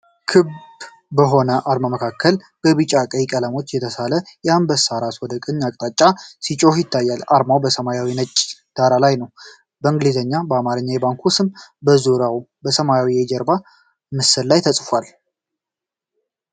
ክብ በሆነ አርማ መካከል በቢጫና በቀይ ቀለሞች የተሳለ የአንበሳ ራስ ወደ ቀኝ አቅጣጫ ሲጮህ ይታያል። አርማው በሰማያዊና በነጭ ዳራ ላይ ነው ፣ በእንግሊዝኛና በአማርኛ የባንኩ ስም በዙሪያው በሰማያዊ የጀርባ ምስል ላይ ተጽፏል።